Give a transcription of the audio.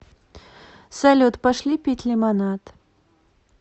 салют пошли пить лимонад